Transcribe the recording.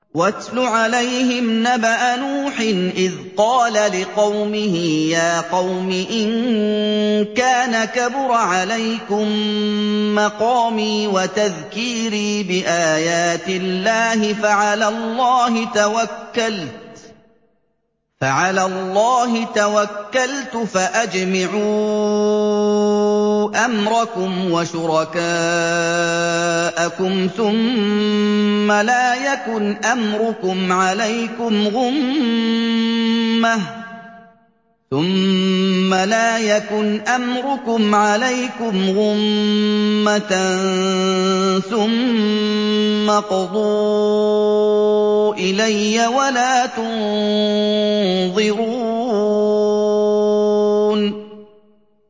۞ وَاتْلُ عَلَيْهِمْ نَبَأَ نُوحٍ إِذْ قَالَ لِقَوْمِهِ يَا قَوْمِ إِن كَانَ كَبُرَ عَلَيْكُم مَّقَامِي وَتَذْكِيرِي بِآيَاتِ اللَّهِ فَعَلَى اللَّهِ تَوَكَّلْتُ فَأَجْمِعُوا أَمْرَكُمْ وَشُرَكَاءَكُمْ ثُمَّ لَا يَكُنْ أَمْرُكُمْ عَلَيْكُمْ غُمَّةً ثُمَّ اقْضُوا إِلَيَّ وَلَا تُنظِرُونِ